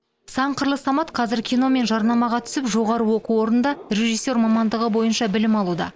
сан қырлы самат қазір кино мен жарнамаға түсіп жоғары оқу орнында режиссер мамандығы бойынша білім алуда